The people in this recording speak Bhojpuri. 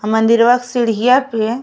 अ मंदिरवा के सीढ़िया पे --